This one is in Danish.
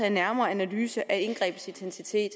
en nærmere analyse af indgrebets intensitet